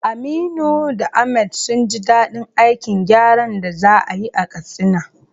Aminu da Ahmad sun ji dadin aikin gyaran da za a yi a Katsina.